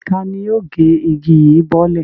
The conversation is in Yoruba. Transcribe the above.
Ta ni yóò gé igi yìí bọ́lẹ̀?